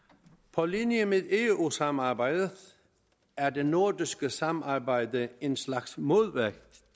på linje med eu samarbejdet er det nordiske samarbejde en slags modvægt